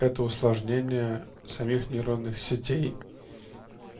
это усложнение самих нейронных сетей